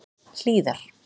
Hlíðar